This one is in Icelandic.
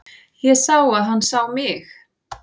Ég sá að hann sá mig.